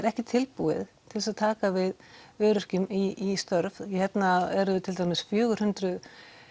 ekki tilbúið til þess að taka við öryrkjum í störf hérna eru til dæmis fjögur hundruð